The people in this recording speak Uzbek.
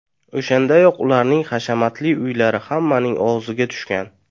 O‘shandayoq ularning hashamatli uylari hammaning og‘ziga tushgan.